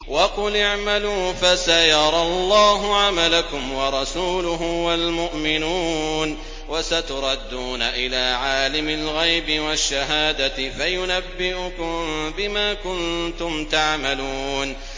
وَقُلِ اعْمَلُوا فَسَيَرَى اللَّهُ عَمَلَكُمْ وَرَسُولُهُ وَالْمُؤْمِنُونَ ۖ وَسَتُرَدُّونَ إِلَىٰ عَالِمِ الْغَيْبِ وَالشَّهَادَةِ فَيُنَبِّئُكُم بِمَا كُنتُمْ تَعْمَلُونَ